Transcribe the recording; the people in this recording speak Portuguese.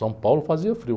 São Paulo fazia frio.